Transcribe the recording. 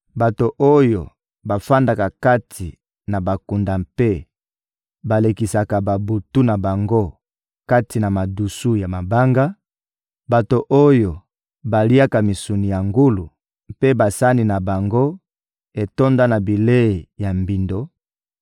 bato oyo bavandaka kati na bakunda mpe balekisaka babutu na bango kati na madusu ya mabanga; bato oyo baliaka misuni ya ngulu mpe basani na bango etonda na bilei ya mbindo;